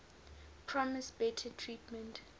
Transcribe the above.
promised better treatment